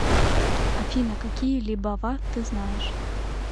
афина какие либава ты знаешь